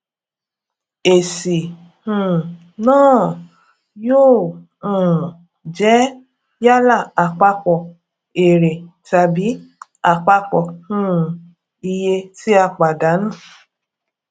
èsì um náà yóò um jẹ yálà àpapọ èrè tàbí àpapọ um iye tí a pàdánù